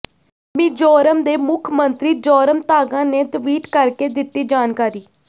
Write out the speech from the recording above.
ਮਿਜ਼ੋਰਮ ਦੇ ਮੁੱਖ ਮੰਤਰੀ ਜ਼ੋਰਮਥਾਂਗਾ ਨੇ ਟਵੀਟ ਕਰਕੇ ਦਿੱਤੀ ਜਾਣਕਾਰੀ